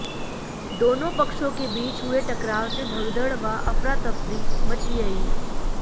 दोनों पक्षों के बीच हुए टकराव से भगदड़ व अफरातफरी मची रही